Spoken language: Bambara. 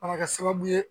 A bɛ kɛ sababu ye